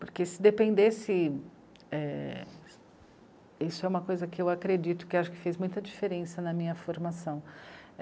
Porque se dependesse é... Isso é uma coisa que eu acredito, que acho que fez muita diferença na minha formação.